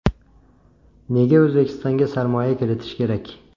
Nega O‘zbekistonga sarmoya kiritish kerak?